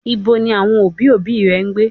Ibo ni àwọn òbí, òbí rẹ ń gbé?